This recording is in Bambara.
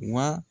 Wa